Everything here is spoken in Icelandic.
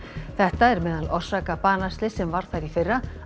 þetta er meðal orsaka banaslyss sem varð þar í fyrra